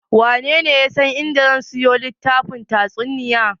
Wanene ya san a inda zan siyo littafin tatsuniya?